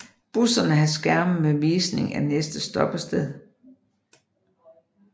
Busserne har skærme med visning af næste stoppested